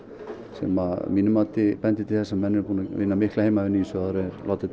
sem að mínu mati bendir til þess að menn eru búnir að vinna mikla heimavinnu áður en látið